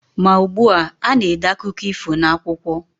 Ma ugbua, a na-ede akụkọ ifo n'akwụkwọ.